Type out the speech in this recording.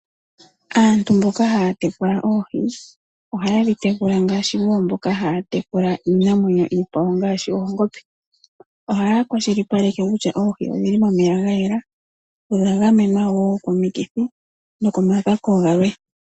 Aantu mboka haya tekula oohi ohaye dhi tekula ngaashi wo mboka haya tekula iinamwenyo iikwawo ngaashi oongombe, ohaya kwashilipaleke kutya oohi odhi li momeya ga yela odha gamenwa wo komikithi nokomakako galwe.